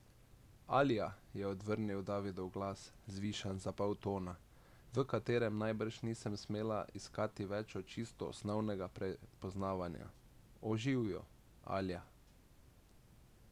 Alja, je odvrnil Davidov glas, zvišan za pol tona, v katerem najbrž nisem smela iskati več od čisto osnovnega prepoznavanja, o, živjo, Alja.